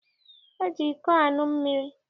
E ji iko aṅụ mmiri.